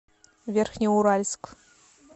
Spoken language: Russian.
верхнеуральск